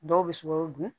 Dɔw bɛ sukaro dun